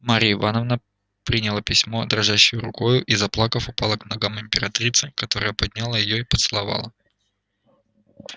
марья ивановна приняла письмо дрожащею рукою и заплакав упала к ногам императрицы которая подняла её и поцеловала